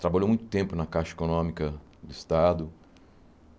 Trabalhou muito tempo na Caixa Econômica do Estado.